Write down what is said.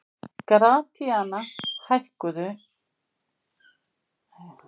Gratíana, hækkaðu í hátalaranum.